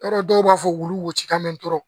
Yɔrɔ dɔw b'a fɔ wulu woso ka mɛ dɔrɔn